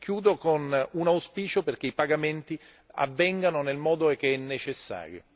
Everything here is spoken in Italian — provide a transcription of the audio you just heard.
E chiudo con un auspicio perché i pagamenti avvengano nel modo che è necessario.